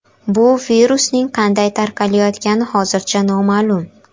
Bu virusning qanday tarqalayotgani hozircha noma’lum.